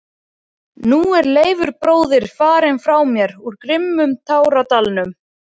Og nú er Leifur bróðir farinn frá mér úr grimmum táradalnum.